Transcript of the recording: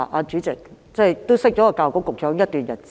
主席，我認識教育局局長已有一段日子。